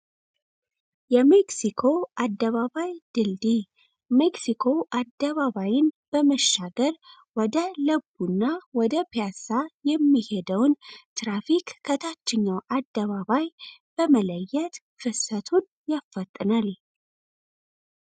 የሜክሢኮ አደባባይ ድልድይ ሜክሲኮ አደባባይን በመሻገር ወደ ለገሃር ወደ ፒያሳ የሚሄደውን ትራፊክ ከታችኛው አደባባይ በመለየት የትራፊክ ፍሰቱን ያፋጥናል።